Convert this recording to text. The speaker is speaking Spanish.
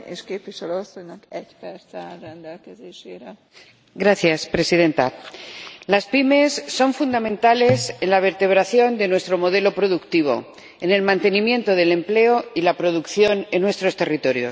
Señora Presidenta, las pymes son fundamentales en la vertebración de nuestro modelo productivo, en el mantenimiento del empleo y la producción en nuestros territorios.